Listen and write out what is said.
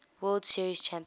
world series champion